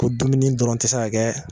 Ko dumuni dɔrɔn ti se ka kɛ